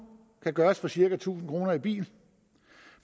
kan gøres for cirka tusind kroner i bil